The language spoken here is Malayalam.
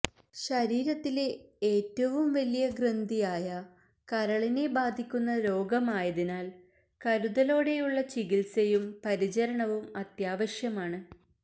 ശരീരത്തിലെ ഏറ്റവും വലിയ ഗ്രന്ധിയായ കരളിനെ ബാധിക്കുന്ന രോഗമായതിനാല് കരുതലോടെയുള്ള ചികിത്സയും പരിചരണവും അത്യാവശ്യമാണ്